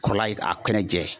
Kɔrɔ la ye, a kɛnɛ jɛ